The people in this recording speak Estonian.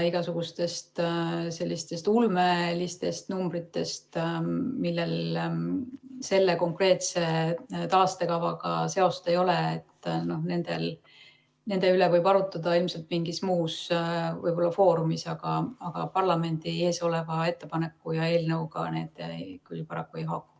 Igasuguste selliste ulmeliste numbrite üle, millel konkreetse taastekavaga seost ei ole, võib arutada ilmselt mingis muus foorumis, aga parlamendi ees oleva ettepaneku ja eelnõuga need küll paraku ei haaku.